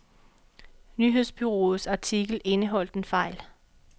Nyhedsbureauets artikel indeholdt en fejl.